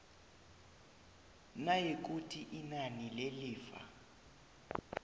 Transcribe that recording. nayikuthi inani lelifa